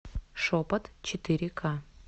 шепот четыре к